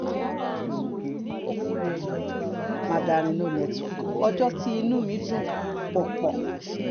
mandarin no network ọjọ́ tí inú mi dùn pọ̀ pọ̀